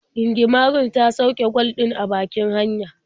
Gingimarin ta sauke kwal ɗin a bakin hanya.